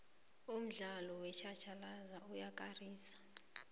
umdlalo wetjhatjhalazi uyakarisa